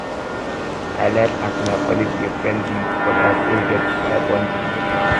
i like as my colleague dey friendly but i still get my boundaries